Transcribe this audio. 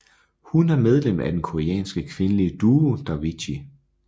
Hun er medlem af den koreanske kvindelige duo Davichi